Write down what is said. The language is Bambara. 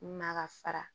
N'a ka fara